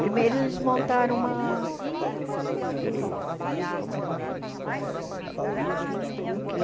Primeiro, eles montaram uma... Como que é?